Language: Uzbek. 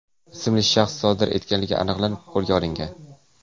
ismli shaxs sodir etganligi aniqlanib, qo‘lga olingan.